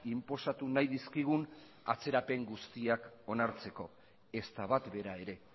inposatu nahi dizkigun atzerapen guztiak onartzeko ezta bat bera ere